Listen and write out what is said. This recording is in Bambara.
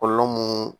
Kɔlɔlɔ mun